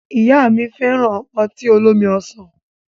Ìyá mi fẹ́ràn ọtí olómi ọsàn.